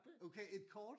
Okay et kort?